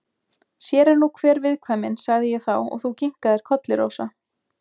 Sér er nú hver viðkvæmnin, sagði ég þá og þú kinkaðir kolli, Rósa.